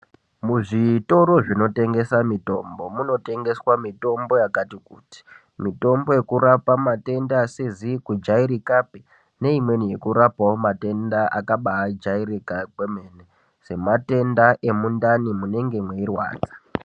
Muzvitoro zvinotengesa mitombo munotengeswa mitombo yakati kuti mitombo yekurapa matenda asizi kujairika pe neimweni yekurapawo matenda akabajairika kwemene semate da emundani munenge mweirwadza.